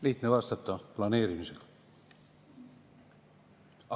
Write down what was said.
Lihtne vastata: planeerimisega.